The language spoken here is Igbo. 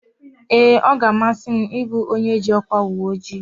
Ee, ọ ga-amasị m ị bụ onye ji ọkwa uweojii